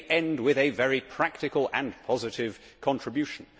Let me end with a very practical and positive contribution.